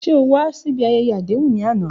Ṣe o wa si ibi ayẹyẹ adehun ni ana?